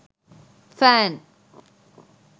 fan